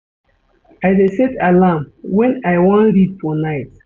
I dey set alarm wen I wan read for night.